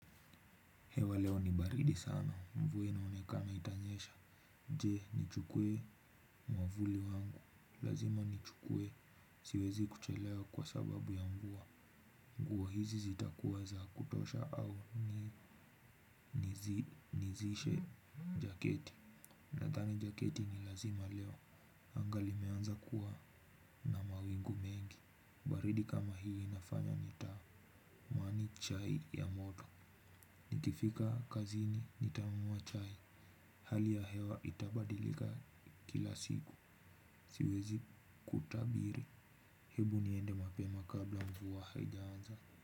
Hewa leo ni baridi sana mvua inaonekana itanyesha je nichukue mwavuli wangu lazima nichukue siwezi kuchelewa kwa sababu ya mvua nguo hizi zitakuwa za kutosha au nivae jaketi nadhani jaketi ni lazima leo anga limeanza kuwa na mawingu mengi baridi kama hii inafanya nitamani chai ya moto nikifika kazini nitakunywa chai. Hali ya hewa itabadilika kila siku siwezi kutabiri. Hebu niende mapema kabla mvua haijaanza.